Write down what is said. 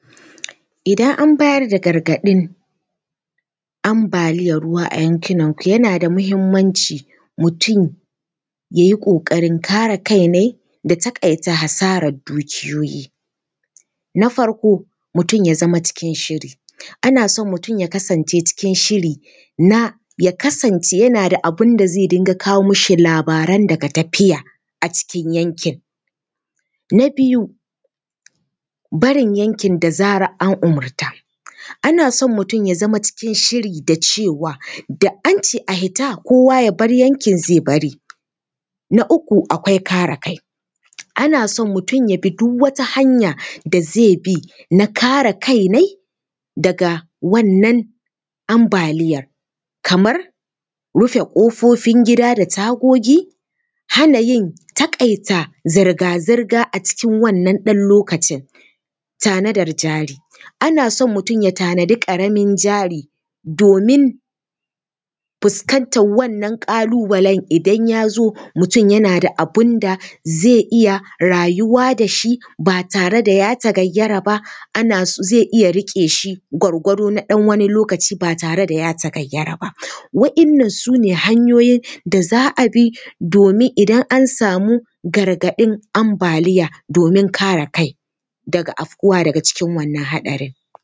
Idan an bayar da gargaɗin ambaliyar ruwa a yankunanku yana da muhimmanci, mutum ya yi ƙoƙarin kare kainai da taƙaita hasarar dukiyoyi. Na farko, mutum ya zama cikin shiri, ana son mutum ya kasance cikin shiri na ya kasance yana da abin da zai dinga kawo mashi labaran daga tafiya a cikin yankin. Na biyu, barin yankin da zarar an umurta, ana son mutum ya zama cikin shiri da cewa, da an ce a fita, kowa ya bar yankin, zai bari. Na uku, akwai kare kai, ana son mutum ya bi duk wata hanya da zai bi na kare kainai daga wannan ambaliyar, kamar rufe ƙofofin gida da tagogi, hana yin taƙaita zirga zirga a cikin wannan ɗan lokacin. Tanadar jari, ana son mutum ya tanaji ƙaramin jari domin fuskantar wannan ƙalu-balen idan ya zo, mutum yana da abin da zai iya rayuwa da shi ba tare da ya tagayyara ba, ana so zai iya riƙe shi gwargwado na ɗan wani lokaci ba tare da ya tagayyara ba. Waɗannan su ne hanyoyin da za a bi domini dan an samu gargaɗin ambaliya, domin kare kai daga afuwa daga cikin wannan haɗarin.